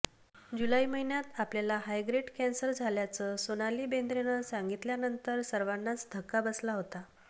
जुलै महिन्यात आपल्याला high grade cancer झाल्याचं सोनाली बेंद्रेनं सांगितल्यानंतर सर्वांनाच धक्का बसला होता